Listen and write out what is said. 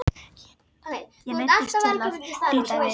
Ég neyddist til að líta við.